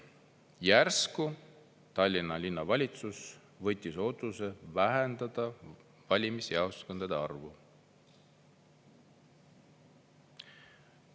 Järsku Tallinna Linnavalitsus võttis otsuse vähendada valimisjaoskondade arvu.